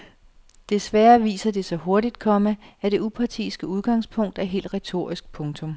Desværre viser det sig hurtigt, komma at det upartiske udgangspunkt er helt retorisk. punktum